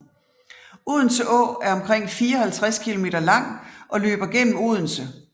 Odense Å er omkring 54 kilometer lang og løber gennem Odense